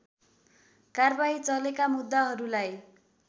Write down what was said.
कारबाही चलेका मुद्दाहरूलाई